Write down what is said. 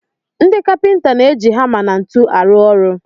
Ndi kapịnta na-eji hama na ntu arụ ọrụ.